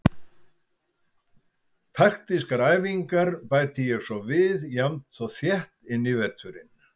Taktískar æfingar bæti ég svo við jafnt og þétt inn í veturinn.